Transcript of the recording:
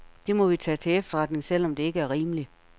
Det må vi tage til efterretning, selv om det ikke er rimelig.